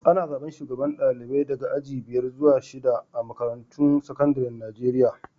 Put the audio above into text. Ana zaban shugabanen dalibai daga aji biyar zuwa shida a'makarantun sekandaren Nijeriya.